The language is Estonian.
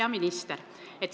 Hea minister!